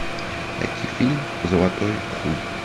найти фильм золотой хуй